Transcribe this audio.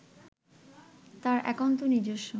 তাঁর একান্ত নিজস্ব